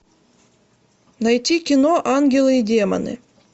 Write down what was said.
найти кино ангелы и демоны